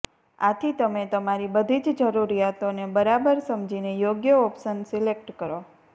આથી તમે તમારી બધી જ જરૂરિયાતોને બરાબર સમજીને યોગ્ય ઓપ્શન સિલેક્ટ કરો